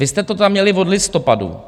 Vy jste to tam měli od listopadu.